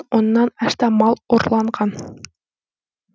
оннан астам мал ұрланған